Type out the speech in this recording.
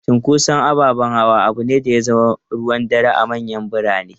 Cunkoson ababen hawa abu ne da ya zama ruwan dare a manyan birane.